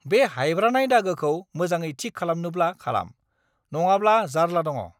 बे हायब्रानाय दागोखौ मोजाङै थिक खालामनोब्ला खालाम, नङाब्ला जार्ला दङ!